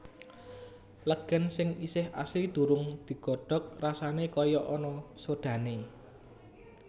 Legèn sing isih asli durung digodhog rasané kaya ana sodhané